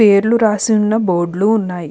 పేర్లు రాసున్న బోర్డు లు ఉన్నాయి.